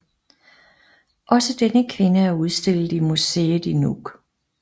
Også denne kvinde er udstillet i museet i Nuuk